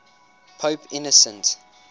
pope innocent